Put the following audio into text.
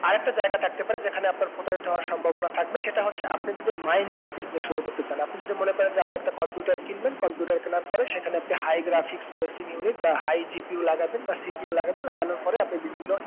আর একটা জায়গা থাকতে পারে যেকানে আপনার প্রতারিত হওয়ার সম্ভবনা থাকবে সেটা হচ্ছে আপনি যদি mining এর business শুরু করতে চান আমি যদি মনে করেন যে আপনি একটা computer কিনবেন computer কিনার পরে সেখানে আপনি high graphics Processing Unit বা highGPU লাগাবেন বা CPU লাগাবেন লাগানোর পরে আপনি বিভিন্ন